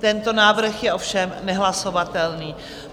Tento návrh je ovšem nehlasovatelný.